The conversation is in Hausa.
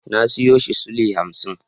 Na siyo shi sule hamsin.